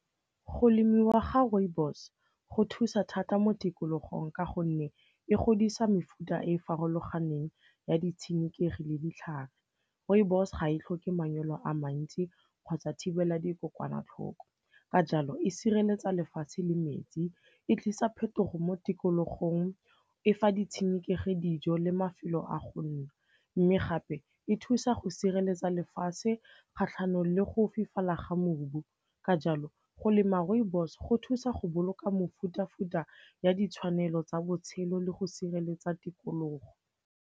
Go lemiwa ga rooibos go thusa thata mo tikologong ka gonne e godisa mefuta e farologaneng ya ditshenekegi le ditlhare. Rooibos ga e tlhoke manyolo a mantsi kgotsa thibela dikokwanatlhoko, ka jalo e sireletsa lefatshe le metsi, e tlisa phetogo mo tikologong, e fa ditshenekegi dijo le mafelo a go nna. Mme gape e thusa go sireletsa lefatshe kgatlhanong le go fifala ga mobu. Ka jalo, go lema rooibos go thusa go boloka mefuta-futa ya ditshwanelo tsa botshelo le go sireletsa tikologo.